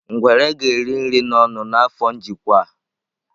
Ngwere ga-eri nri n'ọnụ n'afọ njikwa a.